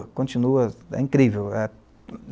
continua, é incrível.